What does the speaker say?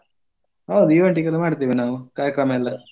ಹೌದು event ಗೆಲ್ಲಾ ಮಾಡ್ತೇವೆ ನಾವು ಕಾರ್ಯಕ್ರಮ ಎಲ್ಲಾ.